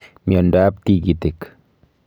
Miondo ab tigitik